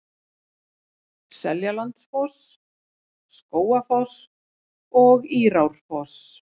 Seljalandsfoss, Skógafoss og Írárfoss.